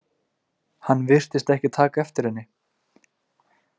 Hann virtist ekki taka eftir henni.